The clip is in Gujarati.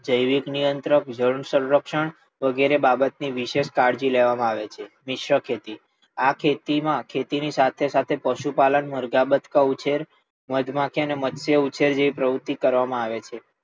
જૈવિક નિયંત્ર સંરક્ષણ વગેરે બાબત ની કાળજી લેવામાં આવે છે. મિશ્ર ખેતી, આ ખેતી માં ખેતી ની સાથે સાથે પશુ પાલન, મરગા ઉછેર, મધમાખી અને મત્સ્ય ઉછેર પ્રવુત્તિ કરવામાં આવે છે.